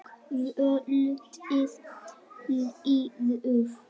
Kvöldið líður.